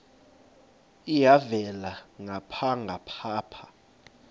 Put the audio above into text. elhavela ngapha nangapha